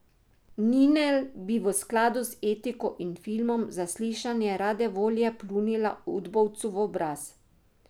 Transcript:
Ninel bi v skladu z etiko in filmom Zaslišanje rade volje pljunila udbovcu v obraz.